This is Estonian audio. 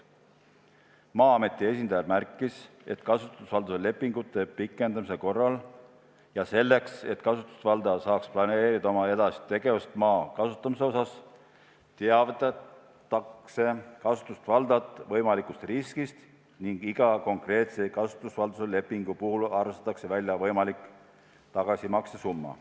Maa-ameti esindaja märkis, et kasutusvalduse lepingute pikendamise korral ja selleks, et kasutusvaldaja saaks planeerida oma edasist tegevust maa kasutamise osas, teavitatakse kasutusvaldajat võimalikust riskist ning iga konkreetse kasutusvalduse lepingu puhul arvestatakse välja võimalik tagasimakse summa.